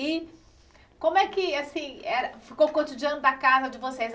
E como é que, assim era, ficou o cotidiano da casa de vocês?